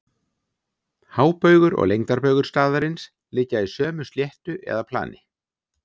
Hábaugur og lengdarbaugur staðarins liggja í sömu sléttu eða plani.